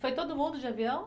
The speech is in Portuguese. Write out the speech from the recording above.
Foi todo mundo de avião?